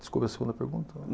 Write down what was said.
Desculpa a segunda pergunta.